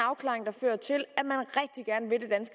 afklaring der fører til